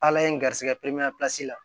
Ala ye n garisɛgɛ periman pilasi la